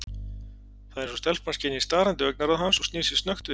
Það er eins og stelpan skynji starandi augnaráð hans og snýr sér snöggt við.